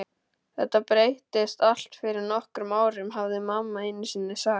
Þetta breyttist allt fyrir nokkrum árum, hafði mamma einusinni sagt.